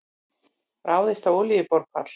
Ráðist á olíuborpall